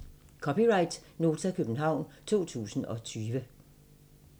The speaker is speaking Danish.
(c) Nota, København 2020